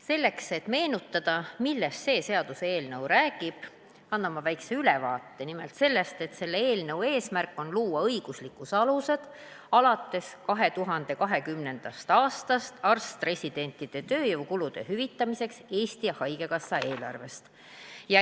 Selleks, et meenutada, millest see seaduseelnõu räägib, annan ma väikese ülevaate nimelt sellest, et eelnõu eesmärk on luua õiguslikud alused, millest lähtuvalt hüvitada 2020. aastast alates arst-residentide tööjõukulud Eesti Haigekassa eelarvest.